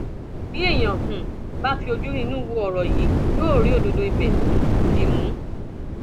bí èèyàn um bá fi ojú inú wo ọrọ yìí yóò rí òdodo ibẹ um dì mú